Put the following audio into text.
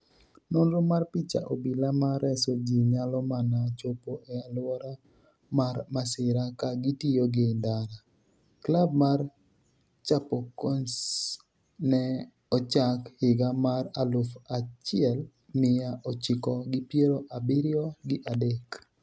nonro mar picha. Obila ma reso ji nyalo mana chopo e alwora mar masira ka gitiyo gi ndara. klab mar Chapocoense ne ochak higa mar aluf achiel miya ochiko gi piero abiriyo gi adek